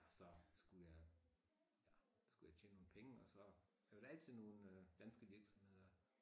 Så skulle jeg ja skulle jeg tjene nogen penge og så var der altid nogen øh danske virksomheder